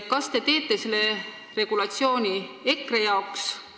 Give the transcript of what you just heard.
Kas te teete selle regulatsiooni EKRE jaoks?